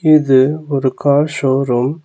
இது ஒரு car showroom .